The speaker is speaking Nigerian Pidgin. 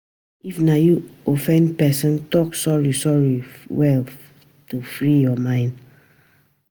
If na you offend person, talk sorry sorry well to free your mind